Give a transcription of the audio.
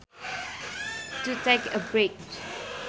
To take a break